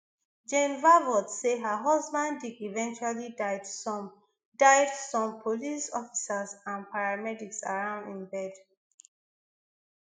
jane vervoorts say her husband dick eventually died some died some police officers and paramedics around im bed